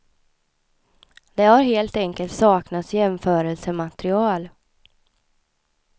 Det har helt enkelt saknats jämförelsematerial.